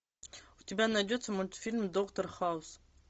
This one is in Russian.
у тебя найдется мультфильм доктор хаус